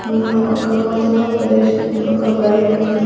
అమ్మ ఒక లోతుగా ప్రదేశముంది ఒక బైక్ ఉంది.